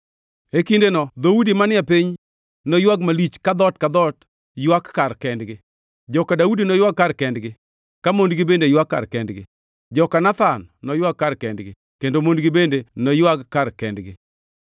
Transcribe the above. E kindeno dhoudi manie piny noywag malich ka dhoot ka dhoot ywak kar kendgi. Joka Daudi noywag kar kendgi, ka mondgi bende ywak kar kendgi, joka Nathan noywag kar kendgi kendo mondgi bende noywag kar kendgi.